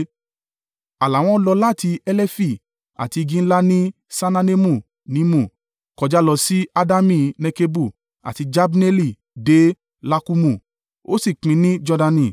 ààlà wọn lọ láti Helefi àti igi ńlá ní Saananimu nímù; kọjá lọ sí Adami Nekebu àti Jabneeli dé Lakkumu, ó sì pín ní Jordani.